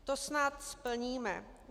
To snad splníme.